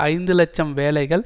ஐந்து இலட்சம் வேலைகள்